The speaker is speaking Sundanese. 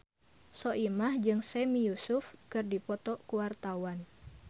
Soimah jeung Sami Yusuf keur dipoto ku wartawan